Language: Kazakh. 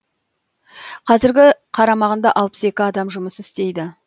қазіргі қарамағында алпыс екі адам жұмыс істейді